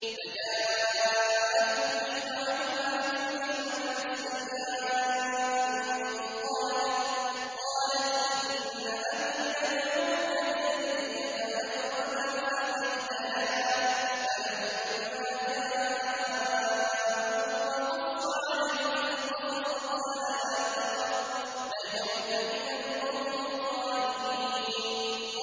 فَجَاءَتْهُ إِحْدَاهُمَا تَمْشِي عَلَى اسْتِحْيَاءٍ قَالَتْ إِنَّ أَبِي يَدْعُوكَ لِيَجْزِيَكَ أَجْرَ مَا سَقَيْتَ لَنَا ۚ فَلَمَّا جَاءَهُ وَقَصَّ عَلَيْهِ الْقَصَصَ قَالَ لَا تَخَفْ ۖ نَجَوْتَ مِنَ الْقَوْمِ الظَّالِمِينَ